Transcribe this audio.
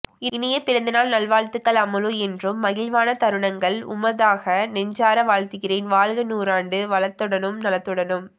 இனிய பிறந்தநாள் நல்வாழ்த்துகள் அம்முலு என்றும் மகிழ்வான தருணங்கள் உமதாக நெஞ்சார வாழ்த்துகிறேன் வாழ்க நூறாண்டு வளத்துடனும் நலத்துடனும்